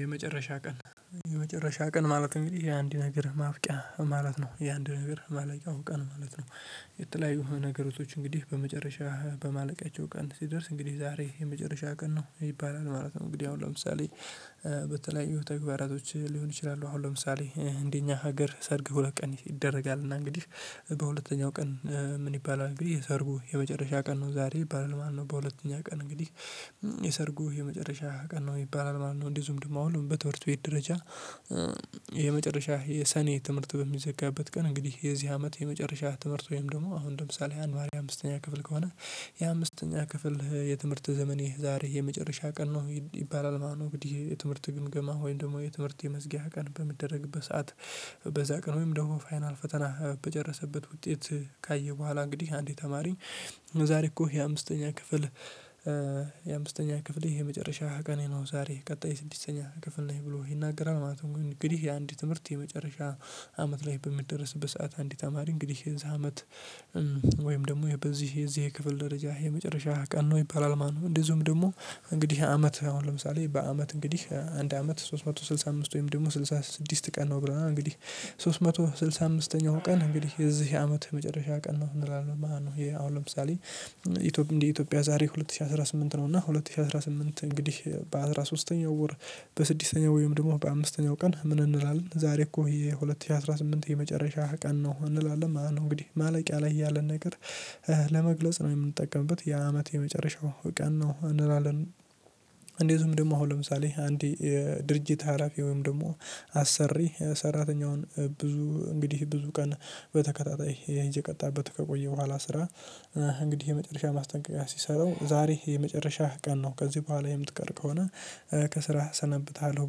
የመጨረሻ ቀን የመጨረሻ ቀን ማለት እንግዲህ ይሄ አንድ ነገር ማብቂያ ማለት ነው የ አንድ ነገር ማለቂያው ቀን ማለት ነው። የተለያዩ ነገሮቶች እንግዲህ በመጨረሻ በማለቃቸው ቀን ሲደርስ እንግዲህ ዛሬ የመጨረሻ ቀን ነው ይባላል ማለት ነው። እንግዲህ አሁን ለምሳሌ በተለያዩ ተግባራቶች ሊሆን ይችላሉ። አሁን ለምሳሌ እንደኛ ሀገር ሰርግ ሁለት ቀን ይደረጋል እና እንግዲህ በሁለተኛው ቀን። ምን ይባላል እንግዲህ የሰርጉ የመጨረሻ ቀን ነው ዛሬ ይባላል ማለት ነው። በሁለተኛ ቀን እንግዲህ የሰርጉ የመጨረሻ ቀን ነው ይባላል ማለት ነው እንደዚሁም ደሞ አሁን በትምህርት ቤት ደረጃ። የመጨረሻ የሰኔ ትምህርት በሚዘጋበት ቀን እንግዲህ የዚህ አመት የመጨረሻ ትምህርት ወይም ደግሞ አሁን ለምሳሌ አንድ ተማሪ አምስተኛ ክፍል ከሆነ የአምስተኛ ክፍል የትምህርት ዘመኔ ዛሬ የመጨረሻ ቀን ነው ይባላል ማለት ነው። እንግዲህ የትምህርት ግምገማ ወይም ደግሞ የትምህርት የመዝጊያ ቀን በሚደረግበት ሰዓት። በዛ ቀን ወይም ደግሞ ፋይናል ፈተና በጨረሰበት ውጤት ካየ በኋላ እንግዲህ አንድ ተማሪ። ዛሬ እኮ የአምስተኛ ክፍል የአምስተኛ ክፍል የመጨረሻ ቀኔ ነው ዛሬ ቀጣይ ስድስተኛ ክፍል ነኝ ብሎ ይናገራል ማለት ነው። ግን እንግዲህ የአንድ ትምህርት የመጨረሻ አመት ላይ በሚደረስበት ሰዓት አንድ ተማሪ እንግዲህ የዛ አመት። ወይም ደግሞ በዚህ የዚህ የክፍል ደረጃ የመጨረሻ ቀን ነው ይባላል ማለት ነው። እንደዚሁም ደግሞ እንግዲህ አመት አሁን ለምሳሌ በአመት እንግዲህ አንድ አመት ሶስት መቶ ስልሳ አምስት ወይም ደግሞ ስልሳ ስድስት ቀን ነው ብለናል እንግዲህ። ሶስት መቶ ስልሳ አምስት ተኛው ቀን እንግዲህ የዚህ አመት የመጨረሻ ቀን ነው እንላለን ማለት ነው። አሁን ለምሳሌ እንደ ኢትዮጵያ ዛሬ ሁለት ሺህ አስራ ስምንት ነው እና ሁለት ሺህ አስራ ስምንት እንግዲህ በአስራ ሶስተኛው ወር። በስድስተኛው ወይም ደግሞ በአምስተኛው ቀን ምን እንላለን ዛሬ እኮ የሁለት ሺህ አስራ ስምንት የመጨረሻ ቀን ነው እንላለን ማለት ነው። እንግዲህ ማለቂያ ላይ ያለን ነገር ለመግለጽ ነው የምንጠቀምበት የአመት የመጨረሻው ቀን ነው እንላለን። እንደዚውም ደግሞ አሁን ለምሳሌ አንድ የድርጅት ሀላፊ ወይም ደግሞ አሰሪ ሰራተኛውን ብዙ እንግዲህ ብዙ ቀን በተከታታይ እየቀጣበት ከቆየ በኋላ ስራ። እንግዲህ የመጨረሻ ማስጠንቀቂያ ሲሰጠው ዛሬ የመጨረሻህ ቀን ነው ከዚህ በኋላ የምትቀር ከሆነ ከስራ አሰናብትሃለሁ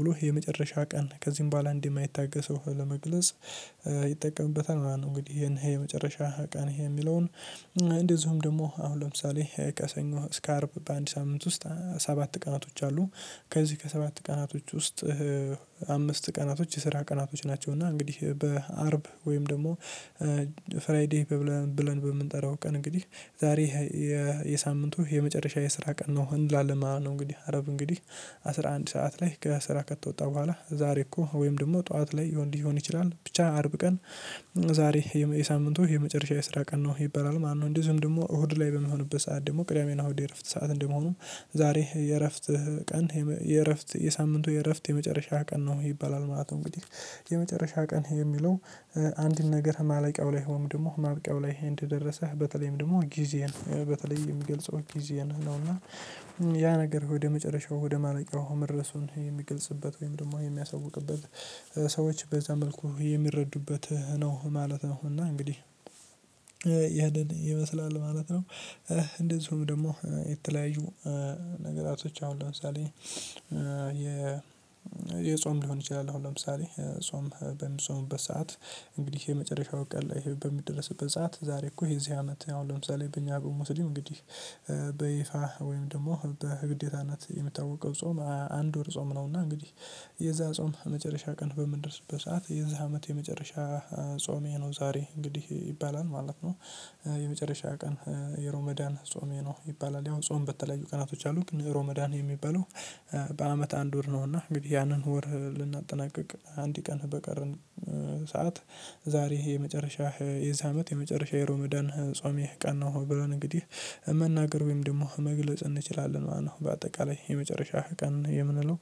ብሎ የመጨረሻ ቀን ከዚህም በኋላ እንደማይታገሰው ለመግለጽ ይጠቀምበታል ማለት ነው። እንግዲህ ይሄን የመጨረሻ ቀን የሚለውን እንደዚሁም ደግሞ አሁን ለምሳሌ ከሰኞ እስከ አርብ በአንድ ሳምንት ውስጥ ሰባት ቀናቶች አሉ። ከዚህ ከሰባት ቀናቶች ውስጥ አምስት ቀናቶች የስራ ቀናቶች ናቸው እና እንግዲህ በአርብ ወይም ደግሞ ፍራይዴይ ብለን ብለን በምንጠራው ቀን እንግዲህ ዛሬ የሳምንቱ የመጨረሻ የስራ ቀን ነው እንላለን ማለት ነው። እንግዲህ አርብ እንግዲህ አስራ አንድ ሰዓት ላይ ከስራ ከተወጣ በኋላ ዛሬ እኮ ወይም ደግሞ ጠዋት ላይ ሊሆን ይችላል ብቻ አርብ ቀን። ዛሬ የሳምንቱ የመጨረሻ የስራ ቀን ነው ይባላል ማለት ነው። እንደዚህም ደግሞ እሁድ ላይ በሚሆንበት ሰዓት ደግሞ ቅዳሜና እሁድ የእረፍት ሰዓት እንደመሆኑ ዛሬ የእረፍት ቀን የእረፍት የሳምንቱ የእረፍት የመጨረሻ ቀን ነው ይባላል ማለት ነው። እንግዲህ የመጨረሻ ቀን የሚለው አንድን ነገር ማለቂያው ላይ ወይም ደግሞ ማብቂያው ላይ እንደደረሰ በተለይም ደግሞ ጊዜን በተለይ የሚገልጸው ጊዜን ነው እና። ያ ነገር ወደ መጨረሻው ወደ ማለቂያው መድረሱን የሚገልጽበት ወይም ደግሞ የሚያሳውቅበት ሰዎች በዛ መልኩ የሚረዱበት ነው ማለት ነው እና እንግዲህ ይመስላል ማለት ነው። እንደዚሁም ደግሞ የተለያዩ ነገራቶች አሁን ለምሳሌ የ የጾም ሊሆን ይችላል አሁን ለምሳሌ ጾም በሚፆምበት ሰዓት። እንግዲህ የመጨረሻው ቀን ላይ በሚደርስበት ሰዓት ዛሬ እኮ የዚህ አመት አሁን ለምሳሌ በእኛ በሙስሊም እንግዲህ በይፋ ወይም ደግሞ በግዴታነት የሚታወቀው ጾም አንድ ወር ጾም ነውና እንግዲህ የዛ ጾም መጨረሻ ቀን በምንደርስበት ሰዓት የዛ አመት የመጨረሻ ጾሜ ነው ዛሬ እንግዲህ ይባላል ማለት ነው። የመጨረሻ ቀን የሮመዳን ጾሜ ነው ይባላል ያው ጾም በተለዩ ቀናቶች አሉ ግን የሮመዳን የሚባለው። በአመት አንድ ወር ነውና እንግዲህ ያንን ወር ልናጠናቅቅ አንድ ቀን በቀርን ሰዓት ዛሬ የመጨረሻ የዚህ አመት የመጨረሻ የሮማዳን ጾሜ ቀን ነው። ብለን እንግዲህ መናገር ወይም ደግሞ መግለጽ እንችላለን ማለት ነው። በአጠቃላይ የመጨረሻ ቀን የምንለው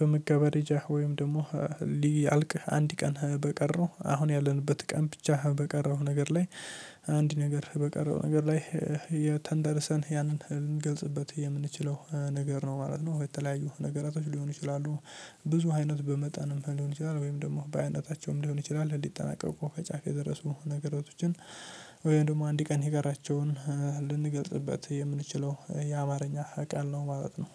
በመገባደጃ ወይም ደግሞ ሊያልቅ አንድ ቀን በቀረው አሁን ያለንበት ቀን ብቻ በቀረው ነገር ላይ። አንድ ነገር በቀረው ነገር ላይ ተንተርሰን ያንን ልንገልጽበት የምንችለው ነገር ነው ማለት ነው። የተለያዩ ነገራቶች ሊሆኑ ይችላሉ። ብዙ አይነት በመጠንም ሊሆን ይችላል ወይም ደግሞ በአይነታቸውም ሊሆን ይችላል ሊጠናቀቁ ከጫፍ የደረሱ ነገሮቶችን። ወይም ደግሞ አንድ ቀን የቀራቸውን ልንገልጽበት የምንችለው የአማርኛ ቃል ነው ማለት ነው።